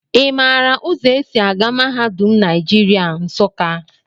I maara ụzọ e si aga mahadum Naijiria, Nsụka?